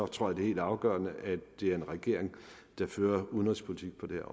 tror det er helt afgørende at det er en regering der fører udenrigspolitik på det